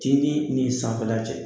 Tintin ni sanfɛla cɛ